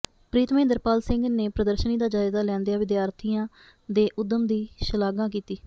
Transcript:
ਪ੍ਰੀਤ ਮਹਿੰਦਰ ਪਾਲ ਸਿੰਘ ਨੇ ਪ੍ਰਦਰਸ਼ਨੀ ਦਾ ਜਾਇਜ਼ਾ ਲੈਂਦਿਆਂ ਵਿਦਿਆਰਥੀਆਂ ਦੇ ਉੱਦਮ ਦੀ ਸ਼ਲਾਘਾ ਕੀਤੀ